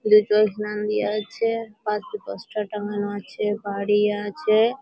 দেয়া আছে পশে পোস্টার টাংগানো আছে বাড়ি আছে ।